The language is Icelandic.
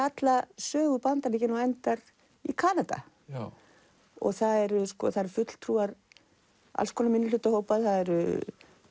alla sögu Bandaríkjanna og endar í Kanada það eru það eru fulltrúar alls konar minnihlutahópa það eru